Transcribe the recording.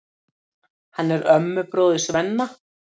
Hann er ömmubróðir Svenna.